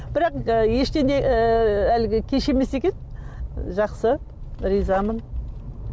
бірақ ештеңе ыыы әлі де кеш емес екен жақсы ризамын